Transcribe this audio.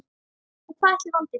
Og hvað ætli valdi því?